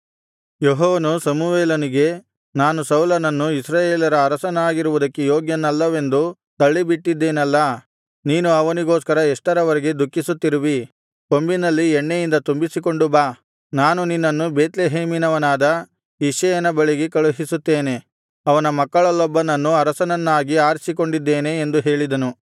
ಯೆಹೋವನು ಸಮುವೇಲನಿಗೆ ನಾನು ಸೌಲನನ್ನು ಇಸ್ರಾಯೇಲರ ಅರಸನಾಗಿರುವುದಕ್ಕೆ ಯೋಗ್ಯನಲ್ಲವೆಂದು ತಳ್ಳಿಬಿಟ್ಟಿದ್ದೇನಲ್ಲಾ ನೀನು ಅವನಿಗೋಸ್ಕರ ಎಷ್ಟರವರೆಗೆ ದುಃಖಿಸುತ್ತಿರುವಿ ಕೊಂಬಿನಲ್ಲಿ ಎಣ್ಣೆಯಿಂದ ತುಂಬಿಸಿಕೊಂಡು ಬಾ ನಾನು ನಿನ್ನನ್ನು ಬೇತ್ಲೆಹೇಮಿನವನಾದ ಇಷಯನ ಬಳಿಗೆ ಕಳುಹಿಸುತ್ತೇನೆ ಅವನ ಮಕ್ಕಳಲ್ಲೊಬ್ಬನನ್ನು ಅರಸನನ್ನಾಗಿ ಆರಿಸಿಕೊಂಡಿದ್ದೇನೆ ಎಂದು ಹೇಳಿದನು